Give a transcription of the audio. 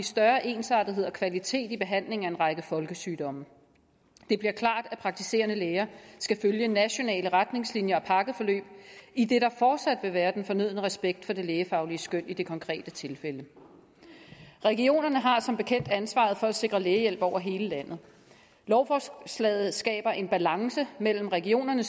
større ensartethed og kvalitet i behandlingen af en række folkesygdomme det bliver klart at praktiserende læger skal følge nationale retningslinjer og pakkeforløb idet der fortsat vil være den fornødne respekt for det lægefaglige skøn i det konkrete tilfælde regionerne har som bekendt ansvaret for at sikre lægehjælp over hele landet lovforslaget skaber en balance ved at give regionerne